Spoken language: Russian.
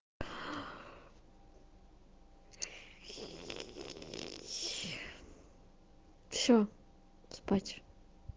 все спать